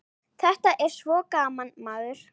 Þetta er svo gaman, maður.